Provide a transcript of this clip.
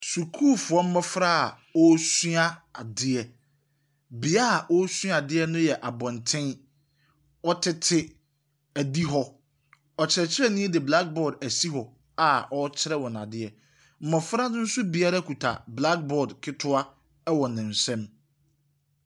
Sukuufoɔ mmɔfra a wɔresua adeɛ. Beaeɛ a wɔresua adeɛ no yɛ abɔntene. Wɔtete adi hɔ. Ɔkyerɛkyerɛni de black board asi hɔ a ɔrekyerɛ wɔn adeɛ. Mmɔfra no nso biara kita black board ketewa wɔ ne nsam.